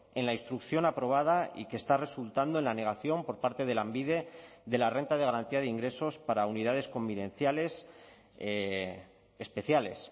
en la instrucción aprobada y que está resultando en la negación por parte de lanbide de la renta de garantía de ingresos para unidades convivenciales especiales